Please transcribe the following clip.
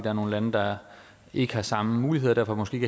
er nogle lande der ikke har samme muligheder og derfor måske